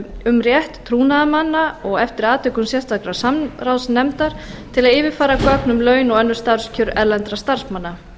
um rétt trúnaðarmanna og eftir atvikum sérstakrar samráðsnefndar til að yfirfara gögn um laun og önnur starfskjör erlendra starfsmanna